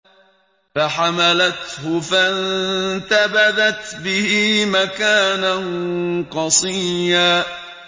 ۞ فَحَمَلَتْهُ فَانتَبَذَتْ بِهِ مَكَانًا قَصِيًّا